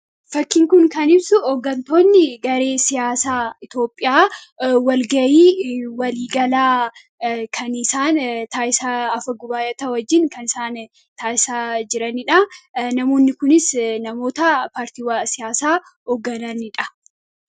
Fakkiin kun kan ibsu hooggantoonni garee siyaasaa Itoopiyaa wal gahii walii galaa kan isaan taasisa afagubaayota wajjin kan isaan taasisaa jiranidha. Namoonni kunis namoota paartiiwwan siyaasaa hooggananidha.